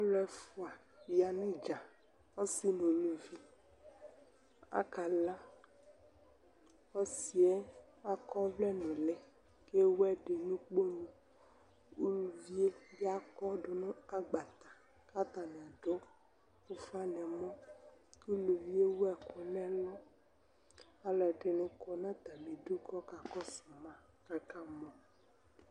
alʊɛfua ya nʊ idza, ɔsi nʊ uluvi akala, ɔsi yɛ akɔvlɛ nʊli kʊ ewu ɛdɩ nʊ ukponu, uluviebɩ akɔdʊ nʊ agbatɛ, kʊ atanɩ adʊ ufa nʊ ɛmɔ, uluvie ewu ɛkunɛlʊ alʊɛdɩnɩ kɔ nʊ atamidu kakɔsʊma, kakamɔ